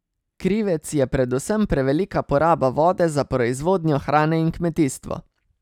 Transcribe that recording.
Krivec je predvsem prevelika poraba vode za proizvodnjo hrane in kmetijstvo.